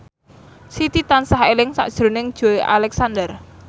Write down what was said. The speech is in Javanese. Siti tansah eling sakjroning Joey Alexander